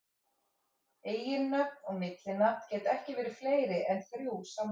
Eiginnöfn og millinafn geta ekki verið fleiri en þrjú samtals.